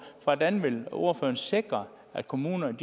hvordan ordføreren vil sikre at kommunerne